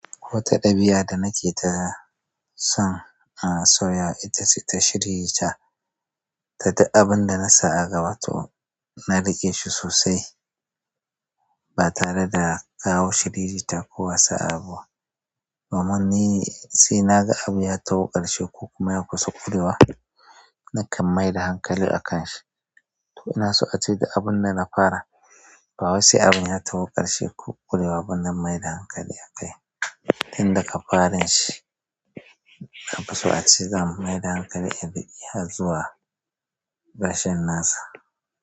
Wata ɗabi'a da nake ta son a soya itace ta shiririta, ta duk abun da na sa a gaba to na riƙe shi sosai, ba tare da kawo shiririta ko wasu abubuwa. Domin ni sai naga abu ya tawo ƙarshe ko kuma ya kusa ƙurewa nakan maida hankali a kan shi. To ina so a ce duk abun da na fara, ba wai se abun ya tawo ƙarshe ko ƙurewa ba na maida hankali a kai. Tun da ka farin shi, nafiso a ce zan maida hankali in riƙe har zuwa ƙarshen nasa.